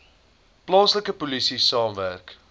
plaaslike polisie saamwerk